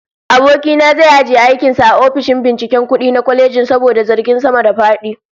Aboki na zai ajiye aikin sa a ofishin binciken kudi na kwalejin saboda zargin sama-da-fadi